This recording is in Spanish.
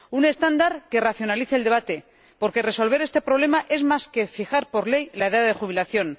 Un estándar que racionalice el debate, porque resolver este problema es más que fijar, por ley, la edad de jubilación.